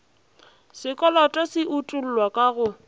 sekoloto se utollwa ka go